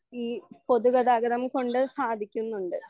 ഈ പൊതുഗതാഗതം കൊണ്ട് സാധിക്കുന്നുണ്ട്.